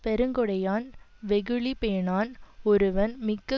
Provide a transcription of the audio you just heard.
பெருங்கொடையான் வெகுளி பேணான் ஒருவன் மிக்க